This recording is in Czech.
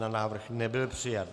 Návrh nebyl přijat.